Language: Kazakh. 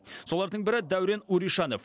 солардың бірі дәурен уришанов